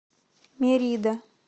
мерида